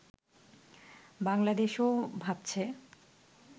বাংলাদেশও ভাবছে